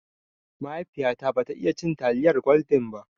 Mahaifiya ta ba ta iya cin taliyar gwaldin ba